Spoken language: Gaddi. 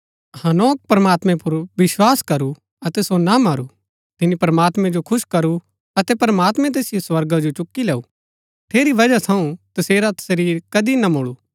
हनोक प्रमात्मैं पुर विस्वास करू अतै सो ना मरू तिनी प्रमात्मैं जो खुश करू अतै प्रमात्मैं तैसिओ स्वर्गा जो चुक्की लैऊँ ठेरी वजह थऊँ तसेरा शरीर कदी ना मूळु